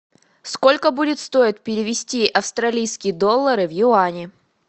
сколько будет стоить перевести австралийские доллары в юани